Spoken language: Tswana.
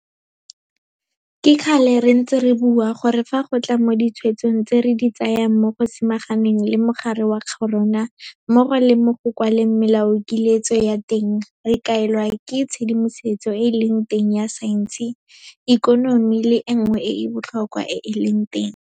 Ke kgale re ntse re bua gore fa go tla mo ditshwetsong tse re di tsayang mo go samaganeng le mogare wa corona mmogo le mo go kwaleng melaokiletso ya teng, re kaelwa ke tshedimosetso e e leng teng ya saense, ikonomi le e nngwe e e botlhokwa e e leng teng.